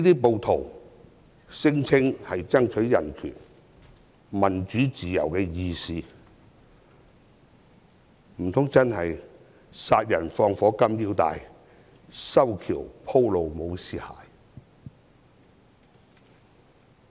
暴徒聲稱要爭取人權，是民主自由的義士，莫非真的是"殺人放火金腰帶，修橋補路無屍骸"？